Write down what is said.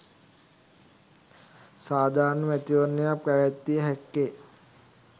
සාධාරණ මැතිවරණයක් පැවැත්විය හැක්කේ